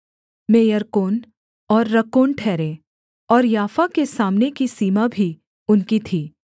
मेयर्कोन और रक्कोन ठहरे और याफा के सामने की सीमा भी उनकी थी